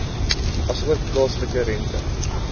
asook plaaslike rente